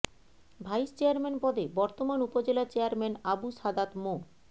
vice chairman পদে বর্তমান upazila chairman Abu Sadat মো